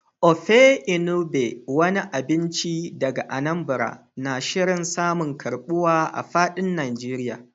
Ofe Enugbe, wani abinci daga Anambra, na shirin samun karbuwa a fadin Najeriya.